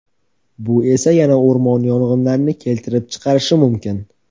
Bu esa yana o‘rmon yong‘inlarini keltirib chiqarishi mumkin.